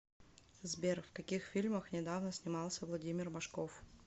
сбер в каких фильмах недавно снимался владимир машков